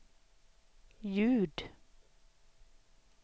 ljud